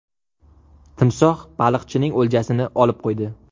Timsoh baliqchining o‘ljasini olib qo‘ydi.